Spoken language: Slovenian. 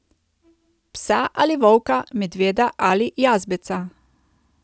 Psa ali volka, medveda ali jazbeca ...